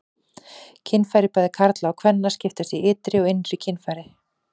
Kynfæri bæði karla og kvenna skiptast í ytri og innri kynfæri.